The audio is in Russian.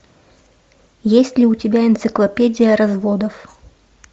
есть ли у тебя энциклопедия разводов